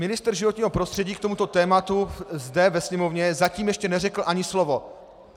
Ministr životního prostředí k tomuto tématu zde ve sněmovně zatím ještě neřekl ani slovo.